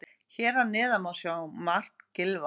Hér að neðan má sjá mark Gylfa.